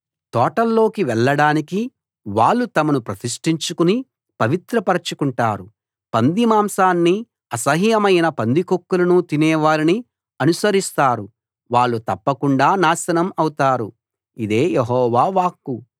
తోటల్లోకి వెళ్లడానికి వాళ్ళు తమను ప్రతిష్టించుకుని పవిత్రపరచుకుంటారు పందిమాంసాన్నీ అసహ్యమైన పందికొక్కులను తినే వారిని అనుసరిస్తారు వాళ్ళు తప్పకుండా నాశనం అవుతారు ఇదే యెహోవా వాక్కు